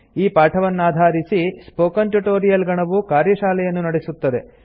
ಈ ಪಾಠವನ್ನಾಧಾರಿಸಿ spoken tutorial ಗಣವು ಕಾರ್ಯಶಾಲೆಯನ್ನು ನಡೆಸುತ್ತದೆ